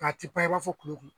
Nga ti pan i ba fɔ kulokulo.